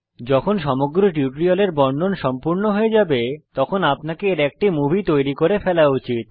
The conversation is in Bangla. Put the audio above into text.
যখন সমগ্র টিউটোরিয়াল এর বর্ণন সম্পূর্ণ হয়ে যাবে তখন আপনাকে এর একটি মুভি তৈরী করে ফেলা উচিত